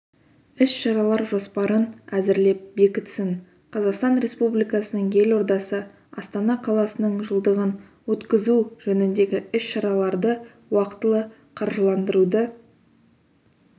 іс-шаралар жоспарын әзірлеп бекітсін қазақстан республикасының елордасы астана қаласының жылдығын өткізу жөніндегі іс-шараларды уақтылы қаржыландыруды